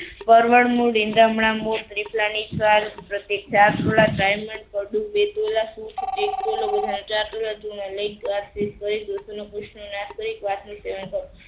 પરવર નું સેવન કરવું.